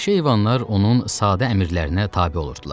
Vəhşi heyvanlar onun sadə əmrlərinə tabe olurdular.